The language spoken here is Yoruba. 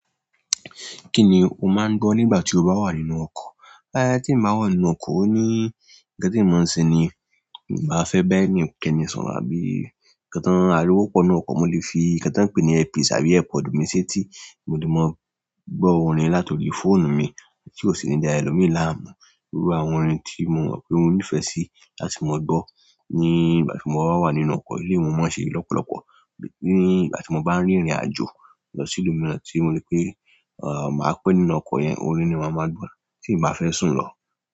Kí ni o máa ń gbọ́ nígbà tí o bá wà nínú ọkọ̀? Bá tí mo wà nínú ọkọ̀ òní, kí ló ṣe mi ní ìbá fẹ́ bá ẹnì kankan sọ̀rọ̀ àbí kí tàn á lówó pọnú ọkọ̀, mo lè fi kí tàn pè ní earpiece tàbí airpod mi sétí, mo lè máa gbọ́ orin látòrí fóònù mi kí ó sì ní dá ẹlòmíì láàmú. Irú àwọn orin tí mo mọ̀ pé mo nífẹ̀ẹ́ sí láti máa gbọ́ nígbà tí mo bá wà nínú ọkọ̀, ilé mi ò mọ̀ ọ́n ṣe lọ́pọ̀lọpọ̀. Nígbà tí mo bá ń rìnrìn àjò lọ sí ìlú mìíràn tí mo ní pé, à, màá pẹ́ nínú ọkọ̀ yẹn, orin ni màá máa gbọ́ tí ǹ bá fẹ́ sùn lọ.